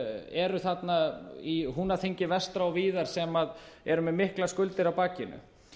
eru þarna í húnaþingi vestra og víðar sem eru með miklar skuldir á bakinu